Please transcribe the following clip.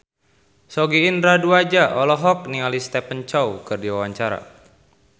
Sogi Indra Duaja olohok ningali Stephen Chow keur diwawancara